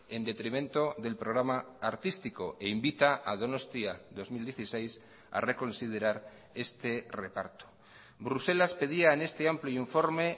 en detrimento del programa artístico e invita a donostia dos mil dieciséis a reconsiderar este reparto bruselas pedía en este amplio informe